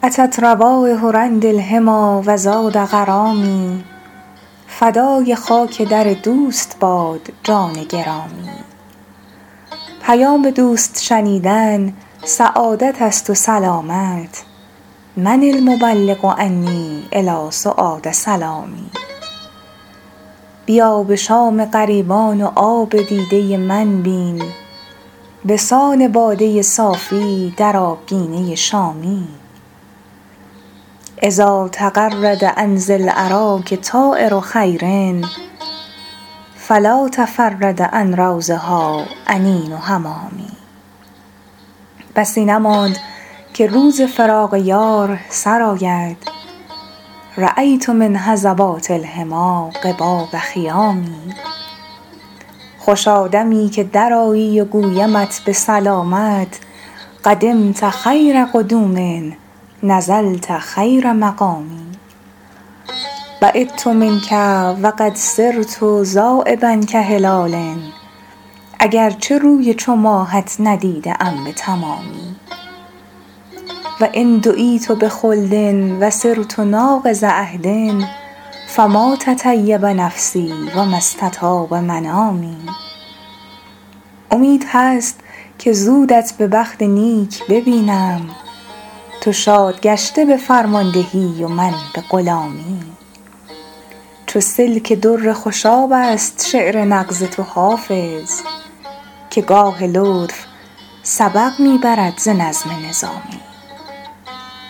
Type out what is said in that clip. أتت روایح رند الحمیٰ و زاد غرامی فدای خاک در دوست باد جان گرامی پیام دوست شنیدن سعادت است و سلامت من المبلغ عنی إلی سعاد سلامی بیا به شام غریبان و آب دیده من بین به سان باده صافی در آبگینه شامی إذا تغرد عن ذی الأراک طایر خیر فلا تفرد عن روضها أنین حمامي بسی نماند که روز فراق یار سر آید رأیت من هضبات الحمیٰ قباب خیام خوشا دمی که درآیی و گویمت به سلامت قدمت خیر قدوم نزلت خیر مقام بعدت منک و قد صرت ذایبا کهلال اگر چه روی چو ماهت ندیده ام به تمامی و إن دعیت بخلد و صرت ناقض عهد فما تطیب نفسی و ما استطاب منامی امید هست که زودت به بخت نیک ببینم تو شاد گشته به فرماندهی و من به غلامی چو سلک در خوشاب است شعر نغز تو حافظ که گاه لطف سبق می برد ز نظم نظامی